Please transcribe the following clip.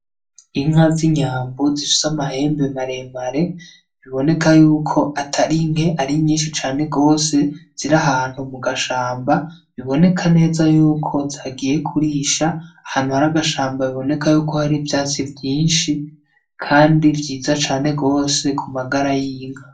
Inka z’inyambo zifise amahembe maremare biboneka yuko atari nke ari nyinshi cane gose, ziri ahantu mu gashamba biboneka neza yuko zagiye kurisha ahantu har’agashamba biboneka ko hari ivyatsi vyinshi Kndi vyiza cane gose ku magara y’inka.